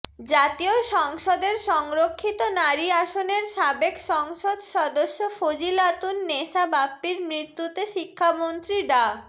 জাতীয় সংসদের সংরক্ষিত নারী আসনের সাবেক সংসদ সদস্য ফজিলাতুন নেসা বাপ্পির মৃত্যুতে শিক্ষামন্ত্রী ডা